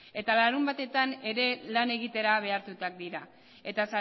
eta larunbatetan ere lan egitera behartuta dira eta